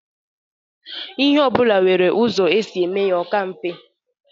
lhe obula nwere uzo e si eme ya o ka mfe.